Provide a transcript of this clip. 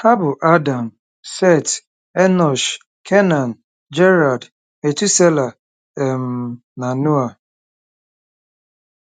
Ha bụ Adam, Set, Enọsh, Kenan, Jared, Metusela um, na Noa.